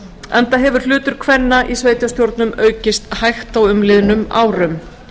enda hefur hlutur kvenna í sveitarstjórnum aukist hægt á umliðnum árum